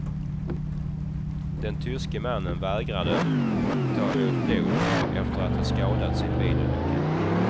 Den tyske mannen vägrade ta emot blod efter att ha skadats i en bilolycka.